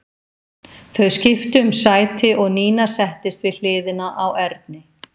Þau skiptu um sæti og Nína settist við hliðina á Erni.